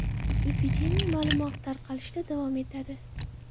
Epidemiya ma’lum vaqt tarqalishda davom etadi”.